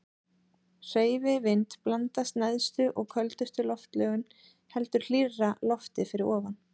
Hreyfi vind blandast neðstu og köldustu loftlögin heldur hlýrra lofti fyrir ofan.